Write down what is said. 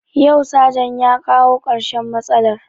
Yau sajan ya kawo karshen matsalar